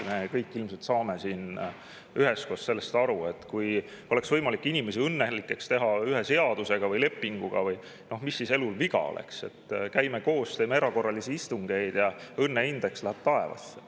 Me kõik ilmselt saame siin üheskoos aru, et kui oleks võimalik teha inimesi õnnelikuks ühe seaduse või lepinguga, mis siis elul viga oleks: käime koos, teeme erakorralisi istungeid ja õnneindeks läheb taevasse.